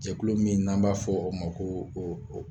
Jɛkulu min n'an b'a fɔ o ma ko o o